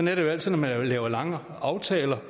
er det jo altid når man laver langvarige aftaler